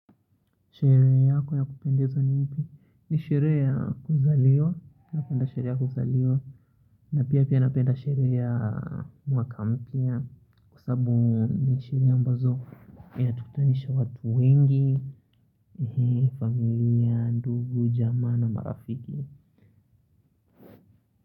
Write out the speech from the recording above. Sherehe yako ya kupendeza ni pi? Ni sherehe ya kuzaliwa napenda sherehe ya kuzaliwa na pia pia napenda sherehe ya mwaka mpya Kwa sababu ni sherehe ambazo inatukutanisha watu wengi hii ni familia ndugu, jamaa na marafiki.